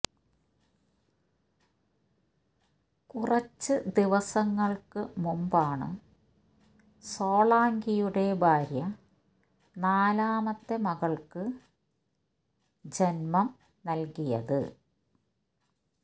കുറച്ച് ദിവസങ്ങള്ക്ക് മുമ്പാണ് സോളാങ്കിയുടെ ഭാര്യ നാലാമത്തെ മകള്ക്ക് ജന്മം നല്കിയത്